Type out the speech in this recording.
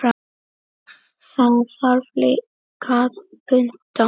Það þarf líka að punta.